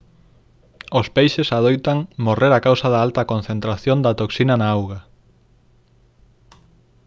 os peixes adoitan morrer a causa da alta concentración da toxina na auga